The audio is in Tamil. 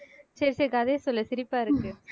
சரி சரி கதைய சொல்லு சிரிப்பா இருக்கு